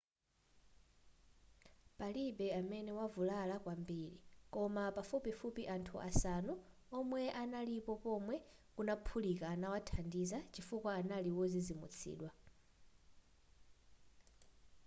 palibe amene wavulala kwambiri koma pafupifupi anthu asanu omwe analipo pomwe kunaphulika anawathandiza chifukwa anali wozizimutsidwa